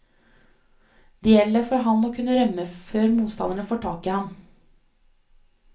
Det gjelder for han å kunne rømme før motstanderne får tak i ham.